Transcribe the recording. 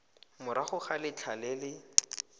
morago ga letlha le le